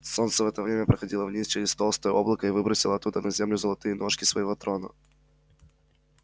солнце в это время проходило вниз через толстое облако и выбросило оттуда на землю золотые ножки своего трона